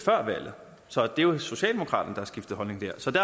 så det er jo socialdemokraterne der har skiftet holdning så det